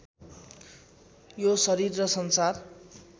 यो शरीर र संसार